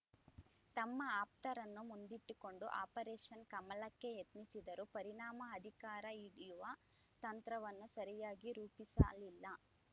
ತಮ್ಮ ಆಪ್ತರನ್ನು ಮುಂದಿಟ್ಟುಕೊಂಡು ಆಪರೇಷನ್‌ ಕಮಲಕ್ಕೆ ಯತ್ನಿಸಿದರು ಪರಿಣಾಮ ಅಧಿಕಾರ ಹಿಡಿಯುವ ತಂತ್ರವನ್ನು ಸರಿಯಾಗಿ ರೂಪಿಸ ಅಲ್ಲಾ